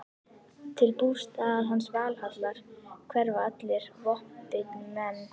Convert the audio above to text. Til bústaðar hans, Valhallar, hverfa allir vopnbitnir menn.